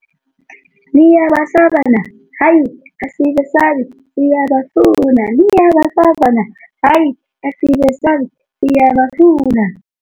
Niyabasaba na, hayi asibesabi siyabafuna, niyabasaba na, hayi asibesabi siyabafuna.